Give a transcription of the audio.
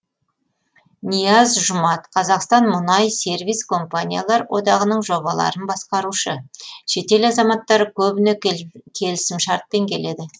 нияз жұмат қазақстан мұнай сервис компаниялар одағының жобаларын басқарушы шетел азаматтары көбіне келісімшартпен келеді